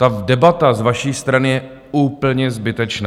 Ta debata z vaší strany je úplně zbytečná.